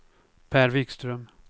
Per Wikström